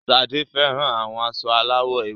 Sade fẹran awọn aṣọ alawọ ewe